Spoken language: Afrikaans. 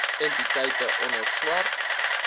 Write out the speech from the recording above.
entiteite onder swart